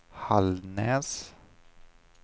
Hällnäs